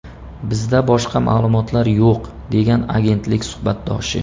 Bizda boshqa ma’lumotlar yo‘q”, degan agentlik suhbatdoshi.